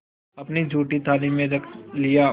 अपनी जूठी थाली में रख लिया